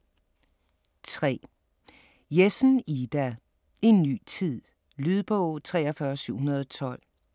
3. Jessen, Ida: En ny tid Lydbog 43712